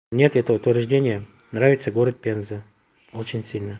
нет это утверждение нравится город пенза очень сильно